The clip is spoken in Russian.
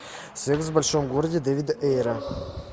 секс в большом городе дэвида эйра